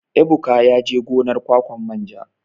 Ebuka yaje gonar ƙwaƙwan manja.